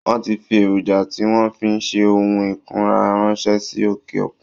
Wọ́n ti fi Èròjà tí wọn fi ń ṣe ohun ìkunra ránṣẹ́ sí òkè òkun